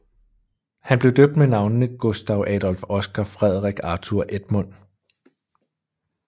Han blev døbt med navnene Gustaf Adolf Oscar Fredrik Arthur Edmund